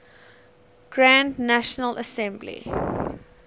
grand national assembly